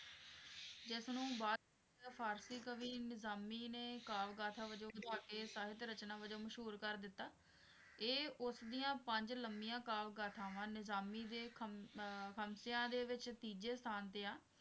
ਇਸਨੂੰ ਬਾਅਦ ਚ ਮਤਲਬ ਫਾਰਸੀ ਕਵੀ ਨਿਜ਼ਾਮੀ ਨੇ ਕਾਵ ਗਾਥਾ ਵਜੋਂ ਕੇ ਸਾਹਿਤ ਰਚਨਾ ਵਜੋਂ ਮਸ਼ਹੂਰ ਕਰ ਦਿੱਤਾ ਇਹ ਉਸਦੀਆਂ ਪੰਜ ਲੰਬੀਆਂ ਕਾਵ ਗਾਥਾਵਾਂ ਨਿਜ਼ਾਮੀ ਦੇ ਖੰਮ~ ਖਮਸਿਆਂ ਦੇ ਵਿੱਚ ਤੀਜੇ ਸਥਾਨ ਤੇ ਆ।